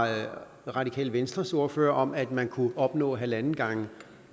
radikale venstres ordfører om at man kunne opnå halvanden gange